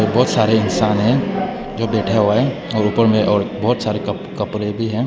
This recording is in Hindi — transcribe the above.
बहुत सारे इंसान हैं जो बैठे हुए हैं और ऊपर में और बहुत सारे कपड़े हैं।